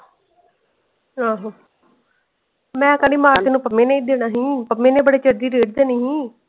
ਆਹੋ ਮੈਂ ਕਹਿਣੀ ਮਾਰ ਤੇ ਇਹਨੂੰ ਪੰਮੇ ਨੇ ਹੀ ਦੇਣਾ ਸੀ ਪੰਮੇ ਨੇ ਬੜੇ ਚਿਰ ਦੀ ਦੇਣੀ ਹੀ।